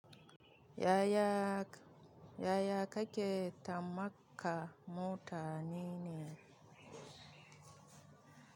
Yaya kake tamaka mutane ne?